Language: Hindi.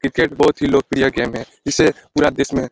क्रिकेट बहुत ही लोकप्रिय गेम है। इसे पुरा देश में --